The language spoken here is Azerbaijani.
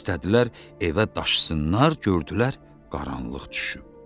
İstədilər evə daşısınlar, gördülər qaranlıq düşüb.